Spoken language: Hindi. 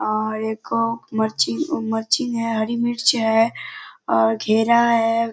और एक अ मरर्ची - मरर्ची नेय हरी मिर्च है और घेरा है।